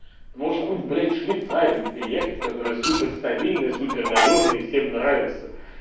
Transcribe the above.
можешь хоть блять в швейцарию переехать который супер стабильная супер надёжная и всем нравится